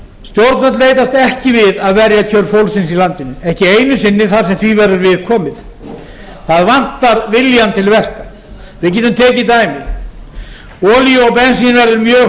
stjórnvöld leitast ekki við að verja kjör fólksins í landinu ekki einu sinni þar sem því verður við komið það vantar viljann til verka við getum tekið dæmi olíu og bensínverð er mjög